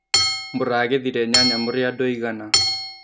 Mũragethire nyanya mũrĩ andũ aigana.